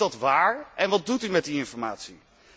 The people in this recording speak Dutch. Is dat waar, en wat doet u met die informatie?